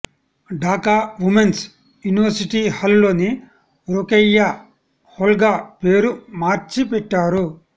Dhaka women's university hall ని రొకెయ్యా హాల్గా పేరు మార్చి పెట్టారు